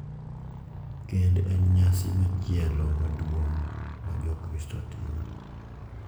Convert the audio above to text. Kend en nyasi machielo maduong’ ma Jokristo timo, .